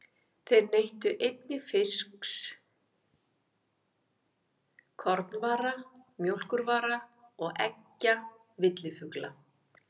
Þeir neyttu einnig fisks, kornvara, mjólkurvara og eggja villifugla.